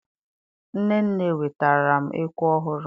Nnenne wetaara m ekwe ọhụrụ!